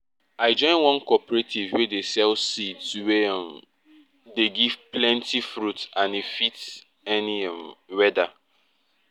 i join one cooperative wey dey sell seeds wey um dey give plenty fruits and e fit any um weather